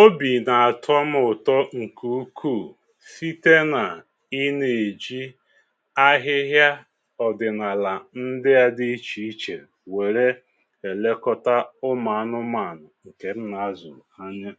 Obi̇ n’àtọ mu ụ̀tọ ǹkè ukwuù site nà ịnȧ-èji ahịhịa ọ̀dị̀nàlà ndị ȧ dị ichè ichè wère èlekọta ụmụ̀anụmȧnụ̀ ǹkè m nà-azụ̀ anya.